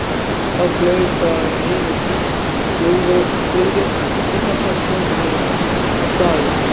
Þá flaug þar yfir þýsk flugvél og kastaði sprengjum á staðinn.